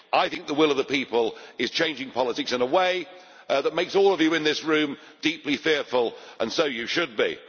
I think the will of the people is changing politics in a way that makes all of you in this room deeply fearful, and so you should be.